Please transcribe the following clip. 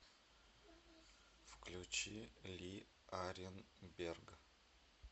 включи ли аренберг